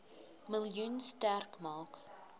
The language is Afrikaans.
miljoen sterk maak